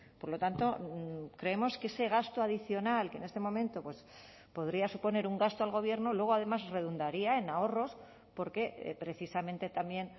por lo tanto creemos que ese gasto adicional que en este momento podría suponer un gasto al gobierno luego además redundaría en ahorros porque precisamente también